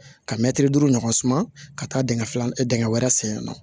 Ka mɛtiri duuru ɲɔgɔn suman ka taa dingɛ filanan dingɛ wɛrɛ sen yan nɔ